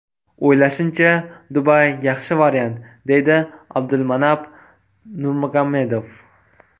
O‘ylashimcha, Dubay yaxshi variant”, deydi Abdulmanap Nurmagomedov.